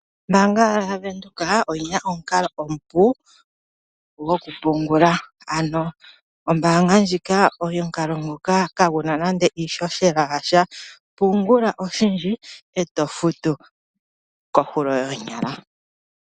Ombaanga yavenduka oyina omukalo omupu gokupungula, ano ombaanga ndjika omukalo nguka kaguna nande iishoshela yasha, pungula oshindji eto futu kohulo yoonyala.